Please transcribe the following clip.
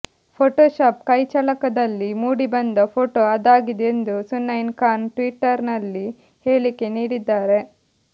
Photoshop ಕೈಚಳಕದಲ್ಲಿ ಮೂಡಿಬಂದ photo ಅದಾಗಿದೆ ಎಂದು ಸುಸೈನೆ ಖಾನ್ ಟ್ವಿಟರ್ ನಲ್ಲಿ ಹೇಳಿಕೆ ನೀಡಿದ್ದಾರೆ